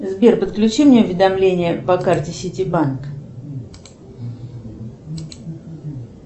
сбер подключи мне уведомление по карте сити банк